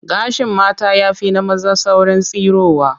Gashin mata ya fi na maza saurin tsirowa